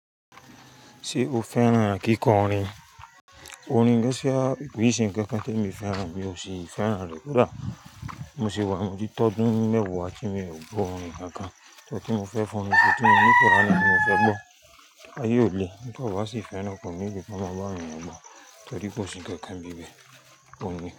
Ṣé o fẹ́ràn kíkọ orin? Orin Gásíà, ìbùsùn kankan tí mi fẹ́ràn mi ò sì fẹ́ràn rẹ̀ dára. Mo se wà motìí tọdún mẹ́wàá tí mi ò gbọ́ orin kankan. Kini n tí mo fẹ́ fi ọrin ṣè ti mọ́ ní kuran ti mo fẹ́ gbọ́. Aye ò le, nígbà tí a bá sì fẹ́ràn ko need kò máa bá awọ̀n eeyann gbọ́ torí kò sí ǹkankan nibi bẹ́ẹ̀, orin.